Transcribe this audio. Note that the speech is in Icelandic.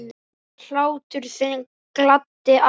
Hlátur þinn gladdi alla.